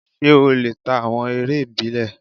Ṣé ó lè ta awọn eré ìbílẹ̀?